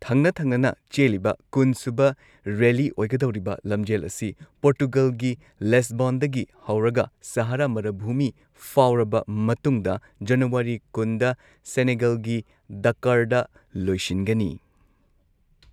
ꯊꯪꯅ ꯊꯪꯅꯅ ꯆꯦꯜꯂꯤꯕ ꯀꯨꯟꯁꯨꯕ ꯔꯦꯂꯤ ꯑꯣꯏꯒꯗꯧꯔꯤꯕ ꯂꯝꯖꯦꯜ ꯑꯁꯤ ꯄꯣꯔꯇꯨꯒꯜꯒꯤ ꯂꯦꯁꯕꯣꯟꯗꯒꯤ ꯍꯧꯔꯒ ꯁꯍꯥꯔꯥ ꯃꯔꯚꯨꯃꯤ ꯐꯥꯎꯔꯕ ꯃꯇꯨꯡꯗ ꯖꯅꯋꯥꯔꯤ ꯀꯨꯟꯗ ꯁꯦꯅꯦꯒꯜꯒꯤ ꯗꯀꯔꯗ ꯂꯣꯏꯁꯤꯟꯒꯅꯤ